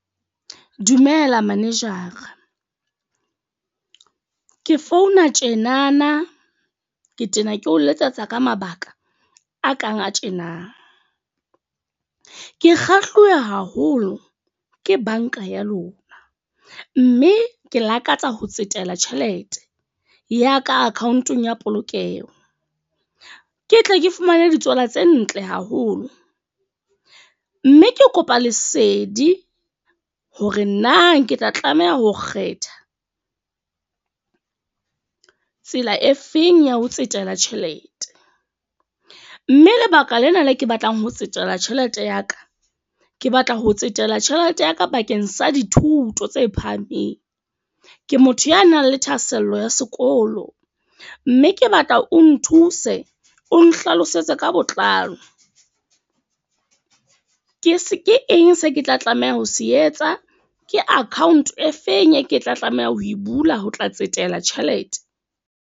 Dumela manager-a ke founa tjenana. Ke tena ke o letsetsa ka mabaka a kang a tjena. Ke kgahluwe haholo ke banka ya lona. Mme ke lakatsa ho tsetela tjhelete, ya ka account-ong ya polokeho. Ke tle ke fumane ditswala tse ntle haholo. Mme ke kopa lesedi hore na ke tla tlameha ho kgetha, tsela e feng ya ho tsetela tjhelete. Mme lebaka lena le ke batlang ho tsetela tjhelete ya ka. Ke batla ho tsetela tjhelete ya ka bakeng sa dithuto tse phahameng. Ke motho ya nang le thahasello ya sekolo. Mme ke batla o nthuse, o nhlalosetse ka botlalo. Ke se ke eng se ke tla tlameha ho se etsa? Ke account e feng e ke tla tlameha ho e bula ho tla tsetela tjhelete?